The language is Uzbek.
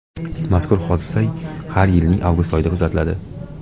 Mazkur hodisa har yilning avgust oyida kuzatiladi.